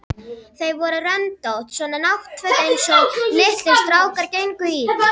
Þau voru röndótt, svona náttföt einsog litlir strákar gengu í.